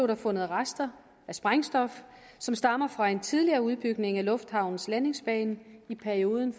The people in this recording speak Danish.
der fundet rester af sprængstof som stammer fra en tidligere udbygning af lufthavnens landingsbane i perioden